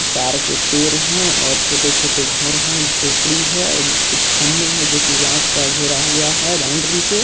ताड़ के पेड़ है और छोटे-छोटे घर है ज्होप्दी है कुछ खम्भे है जो कि बॉस का घेरा हुआ है बाउंड्री से--